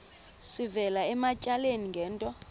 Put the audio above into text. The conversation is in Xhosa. sivela ematyaleni ngento